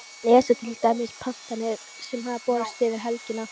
Lesa til dæmis pantanirnar sem höfðu borist yfir helgina.